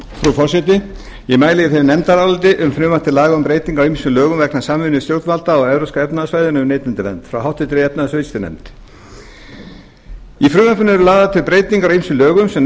forseti ég mæli hér fyrir nefndaráliti um frumvarp til laga um breytingu á ýmsum lögum vegna samvinnu stjórnvalda á evrópska efnahagssvæðinu um neytendavernd frá háttvirtri efnahags og viðskiptanefnd í frumvarpinu eru lagðar til breytingar á ýmsum lögum sem